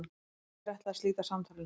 Birkir ætlaði að slíta samtalinu.